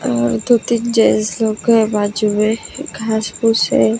और क्योंकि जैसु के बाजू में घास पूस है।